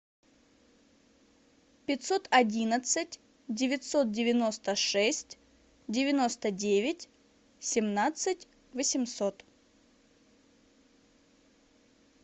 пятьсот одинадцать девятьсот девяносто шесть девяносто девять семнадцать восемьсот